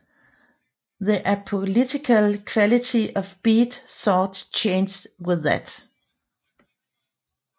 The apolitical quality of Beat thought changed with that